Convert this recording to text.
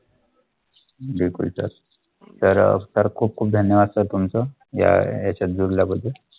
खूप खूप धन्यवाद सर तुमचं याच्या.